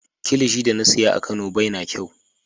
Kilishi da na siya a kano bai na kyau.